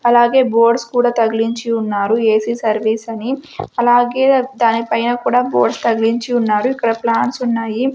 అలాగే బోర్డ్స్ కూడా తగిలించి ఉన్నారు ఏ_సీ సర్వీస్ అని అలాగే దాని పైన కూడా బోర్డ్ తగిలించి ఉన్నాడు ఇక్కడ ప్లాన్స్ ఉన్నాయి.